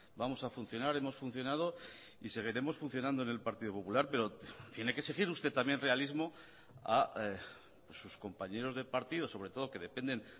vamos a funcionar hemos funcionado y seguiremos funcionando en el partido popular pero tiene que exigir usted también realismo a sus compañeros de partido sobre todo que dependen